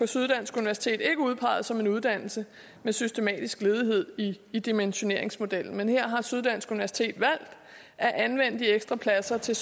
syddansk universitet er udpeget som en uddannelse med systematisk ledighed i dimensioneringsmodellen men her har syddansk universitet valgt at anvende de ekstra pladser til